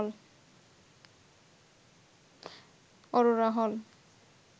অরোরা হল